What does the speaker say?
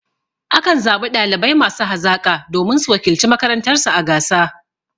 A kan zaɓi ɗalibai masu hazaƙa domin su wakilci makarantar su a gasa.